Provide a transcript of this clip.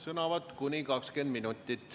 Sõnavõtt kuni 20 minutit.